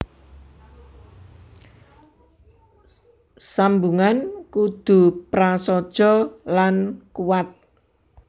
Sambungan kudu prasaja lan kuwat